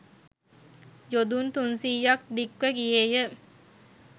යොදුන් තුන්සීයක් දික්ව ගියේ ය.